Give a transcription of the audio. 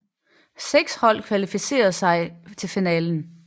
Seks hold kvalificerede sig til finalen